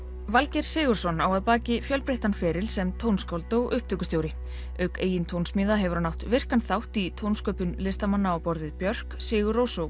Valgeir Sigurðsson á að baki fjölbreyttan feril sem tónskáld og upptökustjóri auk eigin tónsmíða hefur hann átt virkan þátt í tónsköpun listamanna á borð við Björk Sigurrós og